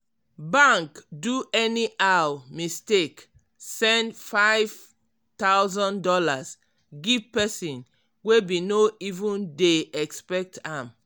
bank do anyhow mistake send five thousand dollars give person wey bin no even dey expect am.